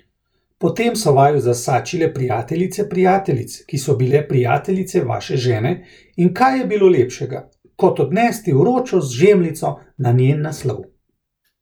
Potem so vaju zasačile prijateljice prijateljic, ki so bile prijateljice vaše žene, in kaj je bilo lepšega, kot odnesti vročo žemljico na njen naslov!